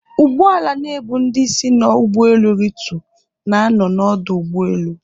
Ụgbọala na-ebu ndị si n'ụgbọelu ritu, na-anọ n'ọdụ ụgbọelu